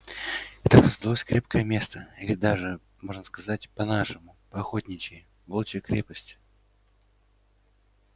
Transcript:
и так создалось крепкое место или даже можно сказать по-нашему по-охотничьи волчья крепость